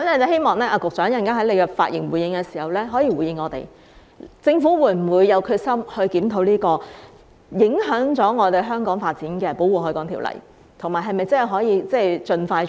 希望局長稍後發言時可以回應我們，政府會否有決心檢討這項影響香港發展的《條例》，以及是否真的可以盡快進行？